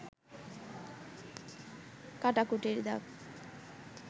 কাটাকুটির দাগ